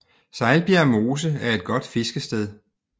Sejlbjerg Mose er et godt fiskested